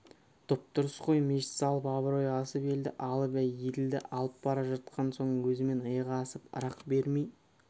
дұп-дұрыс қой мешіт салып абырой асып елді алып еділді алып бара жатқан соң өзімен иығы асып ырық бермей